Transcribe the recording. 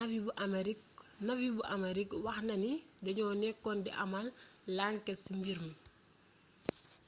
navy bu amerik wax na ni dañoo nekkoon di amal lanket ci mbir mi